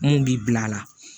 Mun b'i bil'a la